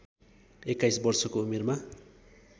२१ वर्षको उमेरमा